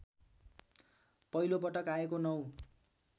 पहिलोपटक आएको ९